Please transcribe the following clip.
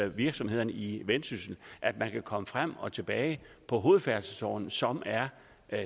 virksomhederne i vendsyssel at man kan komme frem og tilbage på hovedfærdselsårerne som er